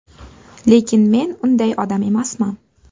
Lekin men unday odam emasman.